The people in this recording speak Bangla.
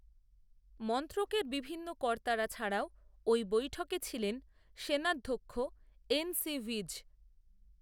মন্ত্রকের বিভিন্ন কর্তারা, ছাড়াও, ওই বৈঠকে ছিলেন সেনাধ্যক্ষ, এন সি ভিজ